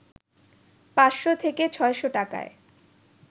৫শ’ থেকে ৬শ’ টাকায়